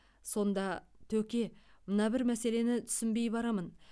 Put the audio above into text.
сонда төке мына бір мәселені түсінбей барамын